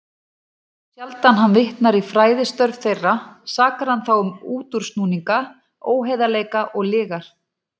Þá sjaldan hann vitnar í fræðistörf þeirra, sakar hann þá um útúrsnúninga, óheiðarleika og lygar.